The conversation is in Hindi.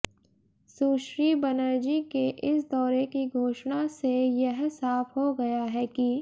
सुश्री बनर्जी के इस दौरे की घोषणा से यह साफ हो गया है कि